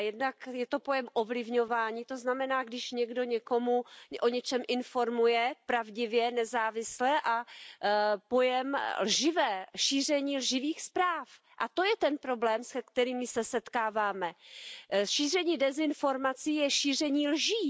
Jednak je to pojem ovlivňování, to znamená, když někdo někoho o něčem informuje pravdivě, nezávisle, a pojem síření lživých zpráv, a to je ten problém, se kterým se setkáváme. Šíření dezinformací je šíření lží!